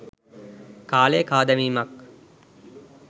කාලය කා දැමීමක්